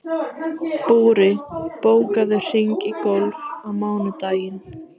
Búri, bókaðu hring í golf á mánudaginn.